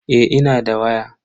Eh ina da waya.